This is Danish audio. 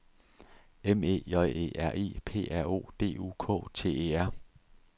M E J E R I P R O D U K T E R